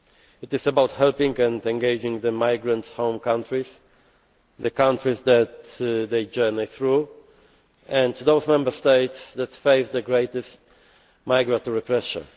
It is about helping and engaging the migrants' home countries, the countries that they journey through and those Member States that face the greatest migratory pressure.